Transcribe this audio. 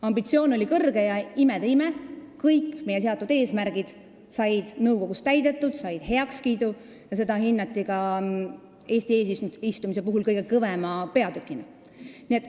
Ambitsioon oli suur, ja imede ime, kõik meie seatud eesmärgid said nõukogus täidetud, need said heakskiidu ja seda kõike hinnati Eesti eesistumise kõige kõvema peatükina.